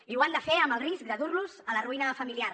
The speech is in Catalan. i ho han de fer amb el risc de durlos a la ruïna familiar